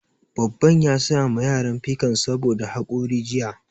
Babban ya saya ma yaran pikan saboda haƙori jiya